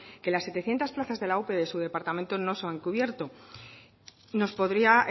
que las setecientos plazas de la ope de su departamento no se han cubierto nos podría